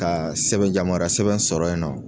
Ka sɛbɛn yamaruya sɛbɛn sɔrɔ ye nɔ.